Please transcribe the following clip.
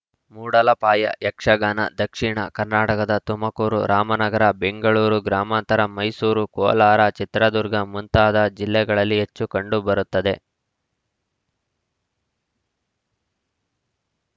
ಮೂಡಲಪಾಯ ಯಕ್ಷಗಾನ ದಕ್ಷಿಣ ಕರ್ನಾಟಕದ ತುಮಕೂರು ರಾಮನಗರ ಬೆಂಗಳೂರು ಗ್ರಾಮಾಂತರ ಮೈಸೂರು ಕೋಲಾರ ಚಿತ್ರದುರ್ಗ ಮುಂತಾದ ಜಿಲ್ಲೆಗಳಲ್ಲಿ ಹೆಚ್ಚು ಕಂಡುಬರುತ್ತದೆ